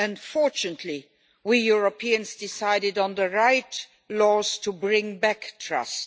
Fortunately, we Europeans decided on the right laws to bring back trust.